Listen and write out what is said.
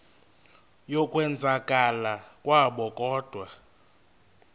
yokwenzakala kwabo kodwa